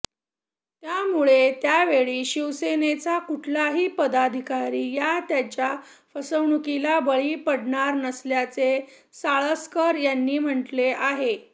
यामुळे यावेळी शिवसेनेचा कुठलाही पदाधिकारी या त्यांच्या फसवणुकीला बळी पडणार नसल्याचे साळसकर यांनी म्हटले आहे